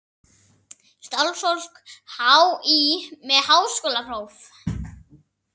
Starfsfólk HÍ með háskólapróf.